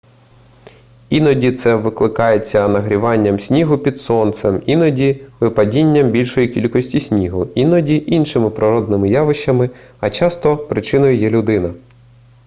іноді це викликається нагріванням снігу під сонцем іноді випадінням більшої кількості снігу іноді іншими природними явищами а часто причиною є людина